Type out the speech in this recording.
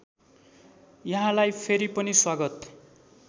यहाँलाई फेरि पनि स्वागत